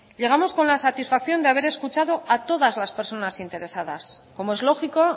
llegamos con la satisfacción de haber escuchado a todas las personas interesadas como es lógico